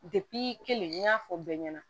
kelen n y'a fɔ bɛɛ ɲɛna